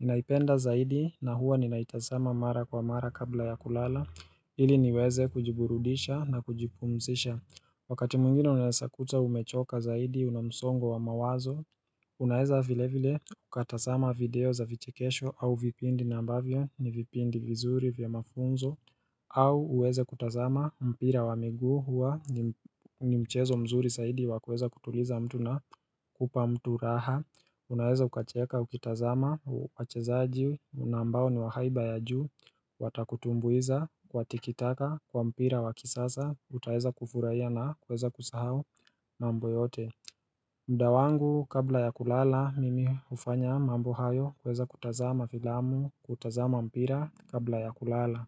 Ninaipenda zaidi na huwa ninaitazama mara kwa mara kabla ya kulala ili niweze kujiburudisha na kujipumzisha Wakati mwingine unawezakuta umechoka zaidi unamsongo wa mawazo Unaeza vile vile ukatazama video za vichikesho au vipindi na ambavyo ni vipindi vizuri vya mafunzo au uweze kutazama mpira wa miguu huwa ni mchezo mzuri zaidi wakueza kutuliza mtu na kupa mtu raha Unaeza ukacheeka, ukitazama, wachezaji, unaambao ni wahaiba ya juu Watakutumbuiza, watikitaka, kwa mpira wakisasa, utaeza kufurahia na kueza kusahau mambo yote mda wangu kabla ya kulala, mimi ufanya mambo hayo kueza kutazama filamu, kutazama mpira kabla ya kulala.